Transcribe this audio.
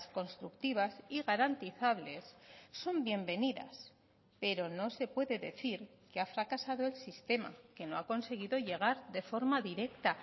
constructivas y garantizables son bienvenidas pero no se puede decir que ha fracasado el sistema que no ha conseguido llegar de forma directa